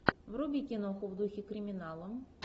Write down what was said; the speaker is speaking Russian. вруби киноху в духе криминала